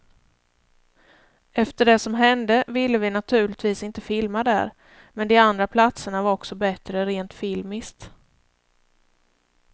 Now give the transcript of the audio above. Efter det som hände ville vi naturligtvis inte filma där, men de andra platserna var också bättre rent filmiskt.